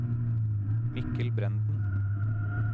Mikkel Brenden